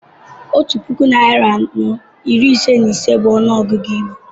Otú puku narị anọ iri ise na ise bú ọnụọgụ Igbo